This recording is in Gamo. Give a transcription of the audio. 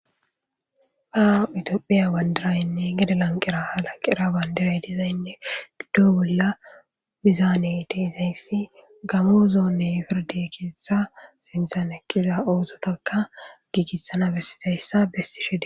Aa itiophiya bandiraynne gede lanqira halaqira bandiray dizaynne giddo bolla mizaane te izayssi gamoozonne firde keetha sinthan eqqiza oozotaka giigissana bessizayssa bessishede.